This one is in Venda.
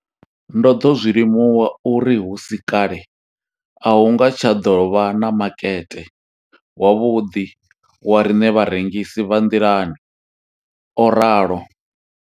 Ndo ḓo zwi limuwa uri hu si kale a hu nga tsha ḓo vha na makete wavhuḓi wa riṋe vharengisi vha nḓilani, o ralo.